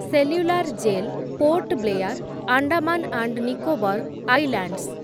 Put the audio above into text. cellular Jail, Port Blair, Andaman and Nicobar islands